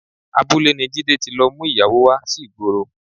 Abúlé ni Jídé ti lọ mú ìyàwó wá sí ìgboro